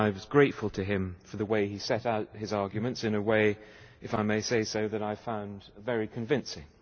I was grateful to him for the way he set out his arguments in a way if I may say so that I found very convincing.